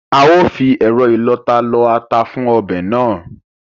A ó fi ẹ̀rọ ìlọta lọ ata fún ọbẹ̀ náà